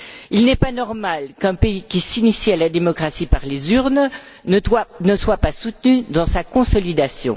Il n'est pas normal qu'un pays qui s'initie à la démocratie par les urnes ne soit pas soutenu dans sa consolidation.